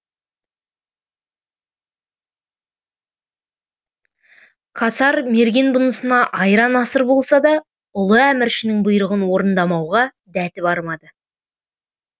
касар мерген бұнысына айран асыр болса да ұлы әміршінің бұйрығын орындамауға дәті бармады